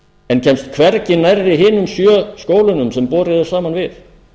en kemst hvergi nærri hinum sjö skólunum sem borið er saman við